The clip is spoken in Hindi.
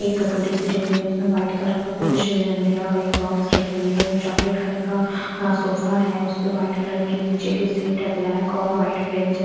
एक कटोरी सी रखी हुई है उसमें व्हाइट कलर का कुछ दिया हुआ है एक बॉक्स रखी हुई है चॉकलेट कलर का सोफा है उस पे व्हाइट कलर की नीचे की सीट है ब्लैक और व्हाइट फ्रेम --